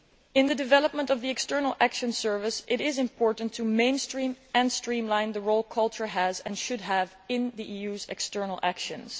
In the development of the External Action Service it is important to mainstream and streamline the role culture has, and should have, in the EU's external actions.